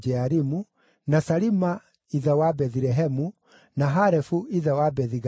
na Salima ithe wa Bethilehemu, na Harefu ithe wa Bethi-Gaderi.